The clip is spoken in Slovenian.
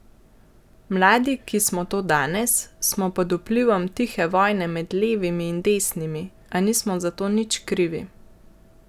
Mladi, ki smo to danes, smo pod vplivom tihe vojne med levimi in desnimi, a nismo za to nič krivi.